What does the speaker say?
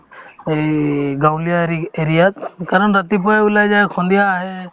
এই গাঁৱলীয়া ৰিক্ area ত কাৰণ ৰাতিপুৱাই ওলাই যায় সন্ধিয়া আহে